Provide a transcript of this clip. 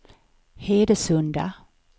Hedesunda